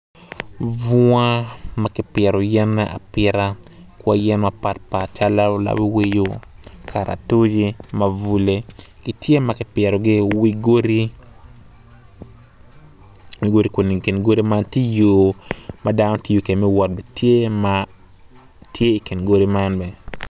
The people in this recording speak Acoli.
Bunga ma kipito yene apita kwai yen mapat pat calo lawiowio, kalatuc, mabule giitye ma kipitogi iwi godi kun i kin godi eni tye yo ma dano tiyo kwede me wot tye i kin godi man bene.